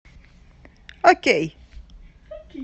окей